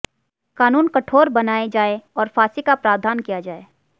कानून कठोर बनाए जाए और फांसी का प्रावधान किया जाए